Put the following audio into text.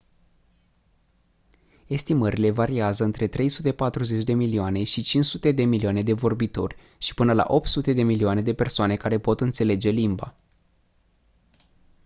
estimările variază între 340 de milioane și 500 de milioane de vorbitori și până la 800 de milioane de persoane care pot înțelege limba